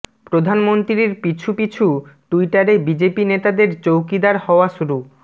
প্রধানমন্ত্রীর পিছু পিছু টুইটারে বিজেপি নেতাদের চৌকিদার হওয়া শুরু